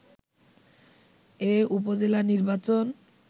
এ উপজেলা নির্বাচন